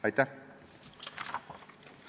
Aitäh!